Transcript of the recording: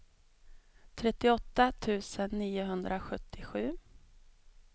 trettioåtta tusen niohundrasjuttiosju